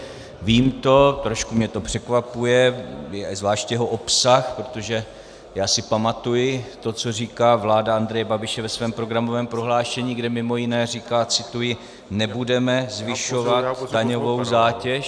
Vím to, trošku mě to překvapuje, zvlášť jeho obsah, protože já si pamatuji to, co říká vláda Andreje Babiše ve svém programovém prohlášení, kde mimo jiné říká - cituji: Nebudeme zvyšovat daňovou zátěž.